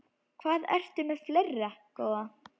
Hvað ertu með fleira, góða?